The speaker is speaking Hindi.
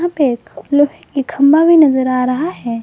पे एक लोहे के खंभा भी नजर आ रहा है।